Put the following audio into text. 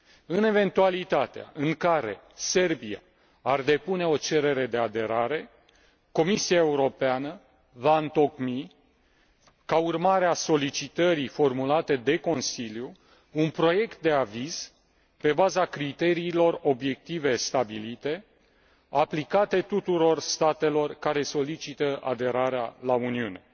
În eventualitatea în care Serbia ar depune o cerere de aderare, Comisia Europeană va întocmi, ca urmare a solicitării formulate de Consiliu, un proiect de aviz pe baza criteriilor obiective stabilite, aplicate tuturor statelor care solicită aderarea la Uniune.